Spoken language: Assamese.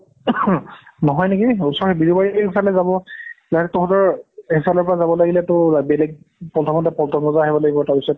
নহয় নেকি ওচৰ বিৰুবাৰিৰ সেইফালে যাব তহত সেইফালৰ পৰা যাব লাগিলেতো বেলেগ প্ৰথমেটো পল্টন বজাৰ আহিব লাগিব তাৰ পাছত